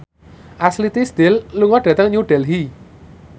Ashley Tisdale lunga dhateng New Delhi